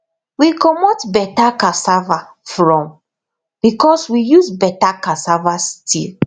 we comot better cassava from because we use better cassava stick